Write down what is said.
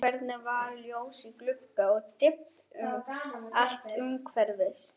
Hvergi var ljós í glugga og dimmt allt umhverfis.